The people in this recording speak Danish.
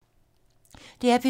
DR P2